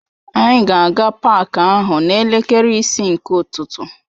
Anyị ga-aga paak ahụ n'elekere isii nke ụtụtụ.